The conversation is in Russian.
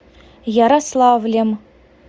ярославлем